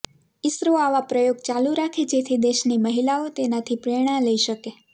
ઈસરો આવા પ્રયોગ ચાલુ રાખે જેથી દેશની મહિલાઓ તેનાથી પ્રેરણા લઈ શકે